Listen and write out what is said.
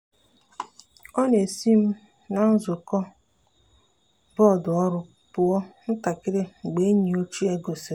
e si m na nzukọ bọọdụ ọrụ pụọ ntakịrị mgbe enyi ochie gosiri.